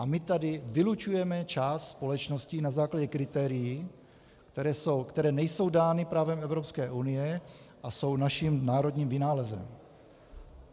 A my tady vylučujeme část společností na základě kritérií, která nejsou dána právem Evropské unie a jsou naším národním vynálezem.